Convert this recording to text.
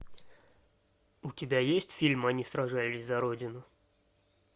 у тебя есть фильм они сражались за родину